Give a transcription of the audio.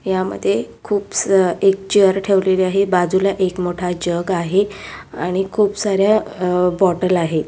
यामध्ये खुप सा एक चेअर ठेवलेली आहे बाजुला एक मोठा जग आहे आणि खुप सार्‍या अ बोटल आहे.